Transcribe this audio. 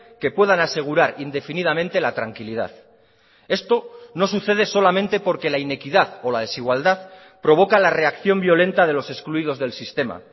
que puedan asegurar indefinidamente la tranquilidad esto no sucede solamente porque la inequidad o la desigualdad provoca la reacción violenta de los excluidos del sistema